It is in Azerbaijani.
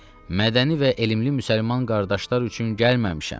Mədəni və elmli müsəlman qardaşlar üçün gəlməmişəm.